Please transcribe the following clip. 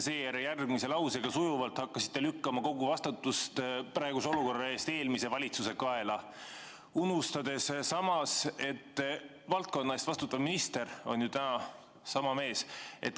Aga järgmise lausega te sujuvalt hakkasite lükkama kogu vastutust praeguse olukorra eest eelmise valitsuse kaela, unustades samas, et valdkonna eest vastutav minister on ju täna sama mees.